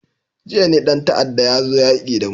Jiya ne dan ta'adda ya zo yaki da mu.